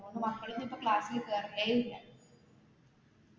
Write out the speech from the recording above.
അത്കൊണ്ട് മക്കളൊന്നും class ല് കയറുന്നേയില്ല.